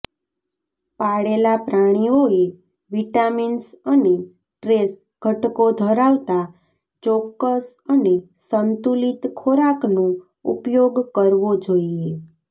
પાળેલા પ્રાણીઓએ વિટામિન્સ અને ટ્રેસ ઘટકો ધરાવતા ચોક્કસ અને સંતુલિત ખોરાકનો ઉપયોગ કરવો જોઈએ